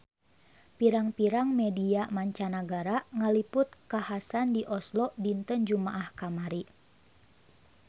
Pirang-pirang media mancanagara ngaliput kakhasan di Oslo dinten Jumaah kamari